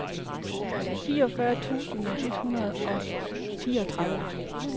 fireogfyrre tusind et hundrede og fireogtredive